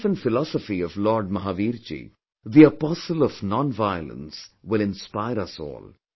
The life and philosophy of Lord Mahavirji, the apostle of nonviolence will inspire us all